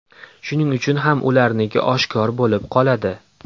Shuning uchun ham ularniki oshkor bo‘lib qoladi.